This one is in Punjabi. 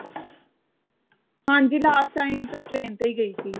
ਹਾਂਜੀ last time ਤਾਂ train ਤੇ ਹੀ ਗਈ ਸੀ